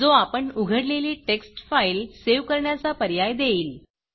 जो आपण उघडलेली टेक्स्ट फाईल सेव्ह करण्याचा पर्याय देईल